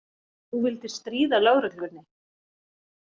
Þú vildir stríða lögreglunni.